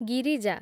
Girija